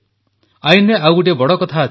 ଆଇନରେ ଆଉ ଗୋଟିଏ ବଡ଼ କଥା ଅଛି